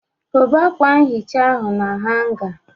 Kobe akwa nhicha ahụ na hanga.